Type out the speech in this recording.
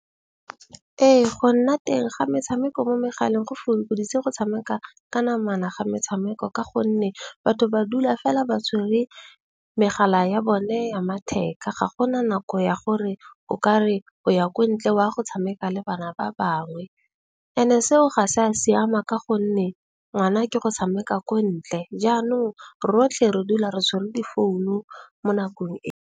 Ee, go nna teng ga metshameko mo megaleng go fokoditse go tshameka ka namana ga metshameko. Ka gonne batho ba dula fela ba tshwere megala ya bone ya matheka. Ga gona nako ya gore o ka re o ya ko ntle wa go tshameka le bana ba bangwe ene seo ga se a siama. Ka gonne ngwana ke go tshameka ko ntle. Jaanong rotlhe re dula re tshwere difounu mo nakong .